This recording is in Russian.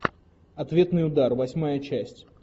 ответный удар восьмая часть